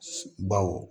Baw